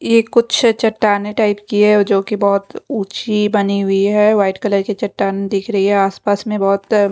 ये कुछ चट्टानें टाइप कि हैं जो कि बहुत ऊंची बनी हुई है व्हाइट कलर की चट्टान दिख रही है आसपास में बहुत--